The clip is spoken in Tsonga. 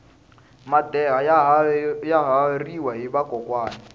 madeha ya haveriwa hi vakokwani